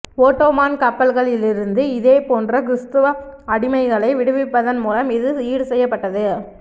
Ottoman கப்பல்களிலிருந்து இதேபோன்ற கிறிஸ்தவ அடிமைகளை விடுவிப்பதன் மூலம் இது ஈடுசெய்யப்பட்டது